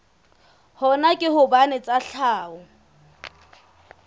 hona ke hobane tsa tlhaho